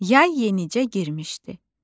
Yay yenicə girmişdi.